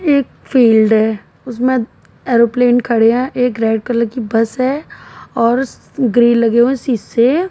एक फील्ड है उसमें एरोप्लेन खड़े है। एक रेड कलर की बस है और स ग्रील लगे हुए है शीशे।